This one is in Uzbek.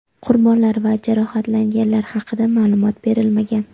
Qurbonlar va jarohatlanganlar haqida ma’lumot berilmagan.